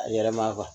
A yɛlɛma